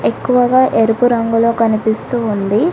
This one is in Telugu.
ఎక్కువగా ఎరుపు రంగులో కనిపిస్తూ ఉంది.